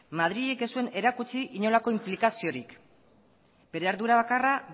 madrilek ez zuen erakutsi inolako inplikaziorik bere ardura bakarra